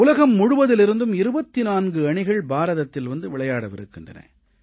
உலகம் முழுவதிலிருந்தும் 24 அணிகள் பாரதத்தில் வந்து விளையாடவிருக்கின்றன